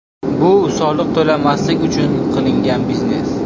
Bu soliq to‘lamaslik uchun qilingan biznes.